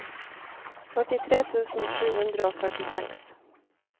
førtitre tusen sju hundre og førtiseks